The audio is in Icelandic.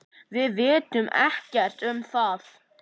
Við vitum ekkert um það.